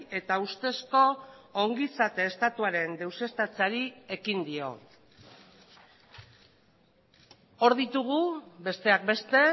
eta ustezko ongizate estatuaren deuseztatzeari ekin dio hor ditugu besteak beste